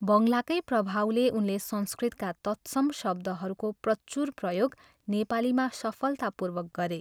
बङ्गलाकै प्रभावले उनले संस्कृतका तत्सम शब्दहरूको प्रचुर प्रयोग नेपालीमा सफलतापूर्वक गरे।